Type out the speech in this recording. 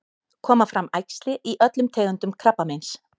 koma fram æxli í öllum tegundum krabbameins